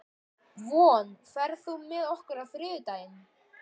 Von, ferð þú með okkur á þriðjudaginn?